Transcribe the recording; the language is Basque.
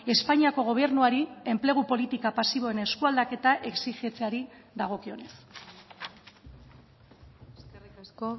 espainiako gobernuari enplegu politika pasiboen eskualdaketa exijitzeari dagokionez eskerrik asko